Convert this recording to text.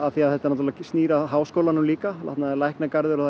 því að þetta snýr að háskólanum líka þarna er Læknagarður og